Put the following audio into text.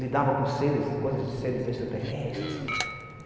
Lidava com coisas de seres extraterrestres.